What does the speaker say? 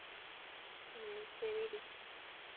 ஹம் சரிடி